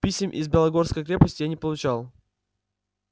писем из белогорской крепости я не получал